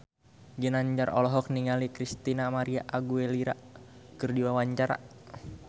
Ginanjar olohok ningali Christina María Aguilera keur diwawancara